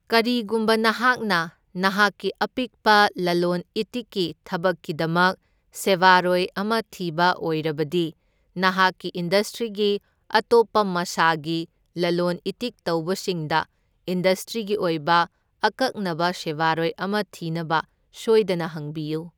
ꯀꯔꯤꯒꯨꯝꯕ ꯅꯍꯥꯛꯅ ꯅꯍꯥꯛꯀꯤ ꯑꯄꯤꯛꯄ ꯂꯂꯣꯟ ꯏꯇꯤꯛꯀꯤ ꯊꯕꯛꯀꯤꯗꯃꯛ ꯁꯦꯕꯥꯔꯣꯏ ꯑꯃ ꯊꯤꯕ ꯑꯣꯏꯔꯕꯗꯤ ꯅꯍꯥꯛꯀꯤ ꯏꯟꯗꯁꯇ꯭ꯔꯤꯒꯤ ꯑꯇꯣꯞꯄ ꯃꯁꯥꯒꯤ ꯂꯂꯣꯟ ꯏꯇꯤꯛ ꯇꯧꯕꯁꯤꯡꯗ ꯏꯟꯗꯁꯇ꯭ꯔꯤꯒꯤ ꯑꯣꯏꯕ ꯑꯀꯛꯅꯕ ꯁꯦꯕꯥꯔꯣꯏ ꯑꯃ ꯊꯤꯅꯕ ꯁꯣꯏꯗꯅ ꯍꯪꯕꯤꯌꯨ꯫